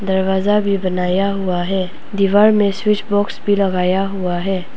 दरवाजा भी बनाया हुआ है दीवार में स्विच बॉक्स भी लगाया हुआ है।